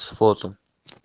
с фото